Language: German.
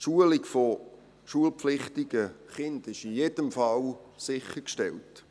Die Schulung von schulpflichtigen Kindern ist in jedem Fall sichergestellt.